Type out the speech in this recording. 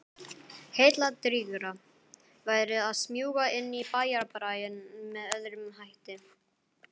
Heilladrýgra væri að smjúga inn í bæjarbraginn með öðrum hætti.